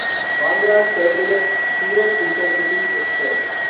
Bandra terminus Surat intercity express